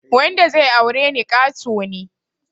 Wanda zai aure ni ƙato ne